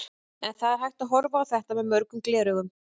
En það er hægt að horfa á þetta með mörgum gleraugum.